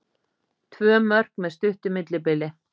Tvö mörk með stuttu millibili